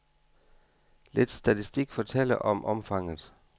Lidt statistik fortæller om omfanget.